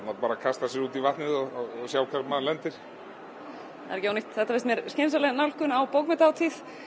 bara kastar sér út í vatnið og sér hvar maður lendir þetta finnst mér skynsamleg nálgun á bókmenntahátíð